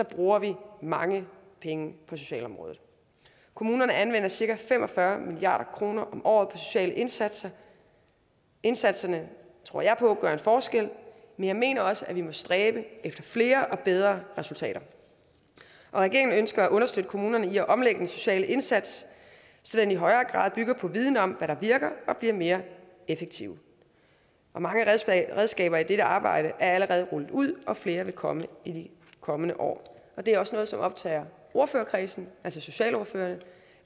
bruger vi mange penge på socialområdet kommunerne anvender cirka fem og fyrre milliard kroner om året sociale indsatser indsatserne tror jeg på gør en forskel men jeg mener også at vi må stræbe efter flere og bedre resultater regeringen ønsker at understøtte kommunerne i at omlægge den sociale indsats så den i højere grad bygger på viden om hvad der virker og bliver mere effektiv og mange redskaber i dette arbejde er allerede rullet ud og flere vil komme i de kommende år det er også noget som optager ordførerkredsen altså socialordførerne